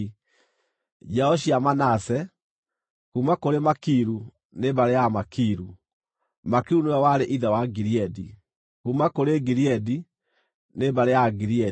Njiaro cia Manase: kuuma kũrĩ Makiru, nĩ mbarĩ ya Amakiru (Makiru nĩwe warĩ ithe wa Gileadi); kuuma kũrĩ Gileadi nĩ mbarĩ ya Agileadi.